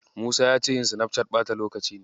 Musa ya ce yin Sinafcat ɓata lokaci ne.